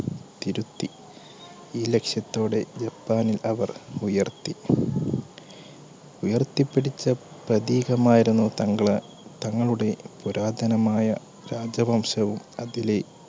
തിരുത്തി ഈ ലക്ഷ്യത്തോടെ ജപ്പാനിൽ അവർ ഉയർത്തി ഉയർത്തി പിടിച്ച പ്രതീകമായിരുന്നു തങ്ങളെ തങ്ങളുടെ പുരാതനമായ രാജവംശവും അതിലെ